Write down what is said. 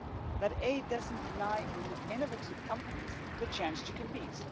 that aid does not deny innovative companies the chance to compete.